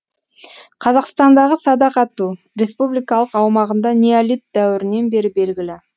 қазақстандағы садақ ату республикалық аумағында неолит дәуірінен бері белгілі